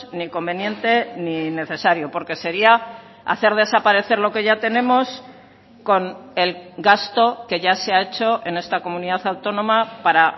ni conveniente ni necesario porque sería hacer desaparecer lo que ya tenemos con el gasto que ya se ha hecho en esta comunidad autónoma para